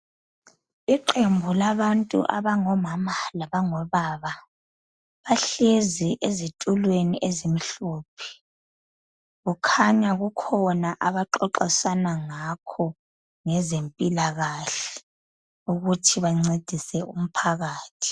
Iqembu labantu abangomama labangobaba bahlezi ezitulweni ezimhophe. Kukhanya kukhona abaxoxisana ngakho ngezempilakahle ukuthi ancedise umphakathi.